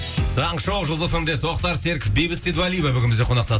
таңғы шоу жұлдыз фм де тоқтар серіктов бейбіт сейдуалиева бүгін бізде қонақта